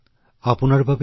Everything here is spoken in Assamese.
আপোনাক অশেষ ধন্যবাদ